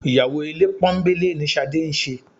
Ìyàwó ilé pọ́nńbélé ni Ṣadé ń ṣe